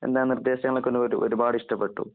എന്താ നിര്‍ദ്ദേശങ്ങളൊക്കെ ഒരു ഒരുപാട് ഇഷ്ടപ്പെട്ടു.